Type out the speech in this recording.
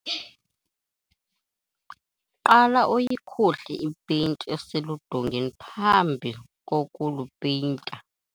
qala uyikhuhle ipeyinti eseludongeni phambi kokulupeyinta